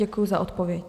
Děkuji za odpověď.